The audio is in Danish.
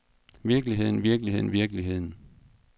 virkeligheden virkeligheden virkeligheden